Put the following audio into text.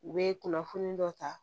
U bɛ kunnafoni dɔ ta